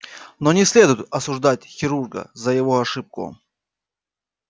но не следует осуждать хирурга за его ошибку